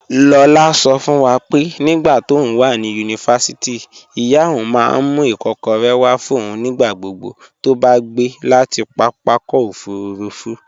Lola sọ fún wa pé nígbà tóun wà ní yunifásítì, ìyá òun máa ń mú ikokore wá fún òun nígbà gbogbo tó bá gbé láti pápákọ̀ òfuurufú.